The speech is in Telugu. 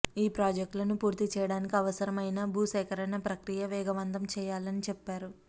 ఈ ప్రాజెక్టులను పూర్తి చేయడానికి అవసరం అయిన భూ సేకరణ ప్రక్రియ వేగవంతం చేయాలని చెప్పారు